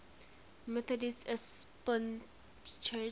methodist episcopal church